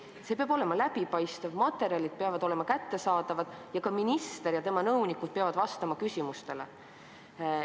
See peab olema läbipaistev, materjalid peavad olema kättesaadavad ning minister ja tema nõunikud peavad küsimustele vastama.